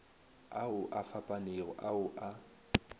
ao a fapanego ao a